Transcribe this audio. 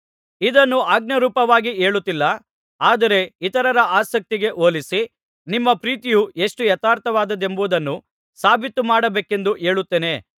ಇದನ್ನು ಆಜ್ಞಾರೂಪವಾಗಿ ಹೇಳುತ್ತಿಲ್ಲ ಆದರೆ ಇತರರ ಆಸಕ್ತಿಗೆ ಹೋಲಿಸಿ ನಿಮ್ಮ ಪ್ರೀತಿಯು ಎಷ್ಟು ಯಥಾರ್ಥವಾದದ್ದೆಂಬುದನ್ನು ಸಾಬೀತು ಮಾಡಬೇಕೆಂದು ಹೇಳುತ್ತೇನೆ